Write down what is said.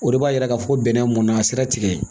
O de b'a yira k'a fɔ bɛnɛ mɔnna sira tigɛ